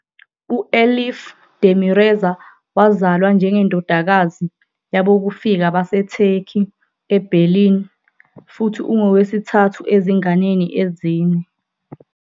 U-Elif Demirezer wazalwa njengendodakazi yabokufika baseTurkey eBerlin futhi ungowesithathu ezinganeni ezine.